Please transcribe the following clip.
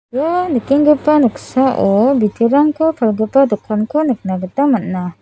ia nikenggipa noksao biterangko palgipa dokanko nikna gita man·a.